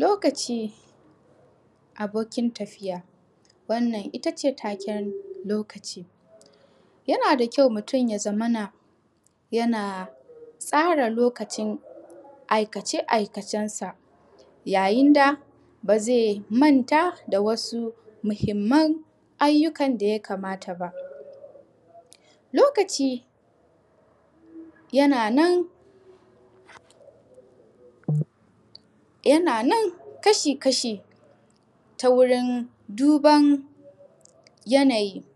Lokaci abokin tafiya, wannan ittace taken lokaci yana da kyau mutun ya zamana yana tsara lokacin aikace aikace sa ya yinda bazai manta da wasu mahimman abubuwan daya kamata ba. Lokaci yana nan kashi kasha ta wurin duban yanayi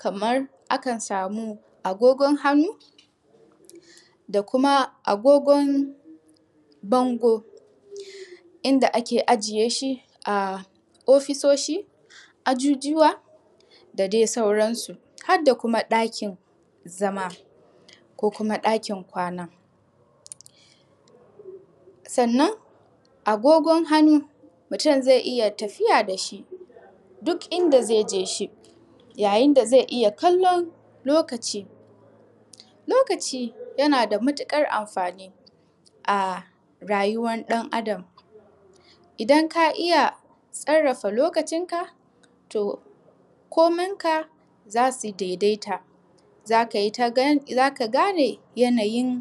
kaman akan samu agogon hannu da kuma agogon bangor inda ake ajiye shi a ofisoshi ajujuwa da dai sauran su. Hadda kuma ɗakin zama ko kuma ɗakin kwana, sannan agogon hannu mutun zai iyya tafiya dashi duk inda zaije ya yinda zai iyya kallon lokaci. Lokaci yana da matuƙar amfani a rayuwar ɗan Adam idan ka iyya sarrafa lokacin ka to koman ka zasu daidaita zaka gane yanayi da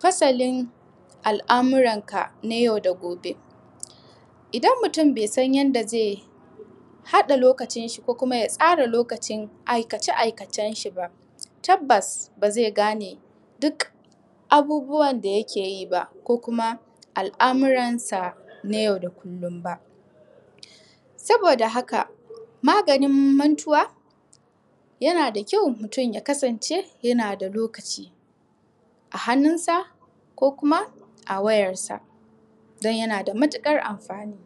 fasalin al'amuran ka, na yau da gobe. Idan mutun bai san yanad hada lokacin shi ko kuma ya tsara lokacin aikace aikace shiba tabbas ba zai gane duk abubuwan da yake yiba, ko kuma al'amuran sa na yau da kullum ba. Saboda maganin mantuwa yanada kyau mutun ya kasance yana da lokaci a hannunsa ko kuma a wayar sa dan ya nada matukar amfani.